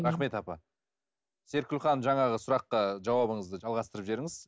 рахмет апа серікгүл ханым жаңағы сұраққа жауабыңызды жалғастырып жіберіңіз